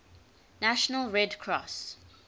national red cross